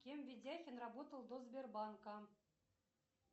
кем ведяхин работал до сбербанка